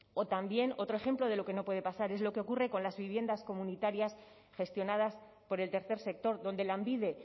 o también otro ejemplo de lo que no puede pasar es lo que ocurre con las viviendas comunitarias gestionadas por el tercer sector donde lanbide